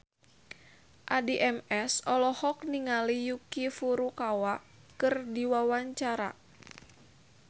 Addie MS olohok ningali Yuki Furukawa keur diwawancara